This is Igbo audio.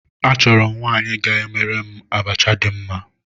Achọrọ m nwaanyị ga-emere m abacha dị mma